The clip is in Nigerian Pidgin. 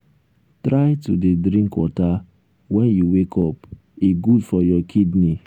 try to dey drink water wen you wake up e good for your kidney.